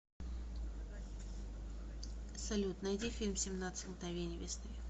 салют найди фильм семнадцать мгновений весны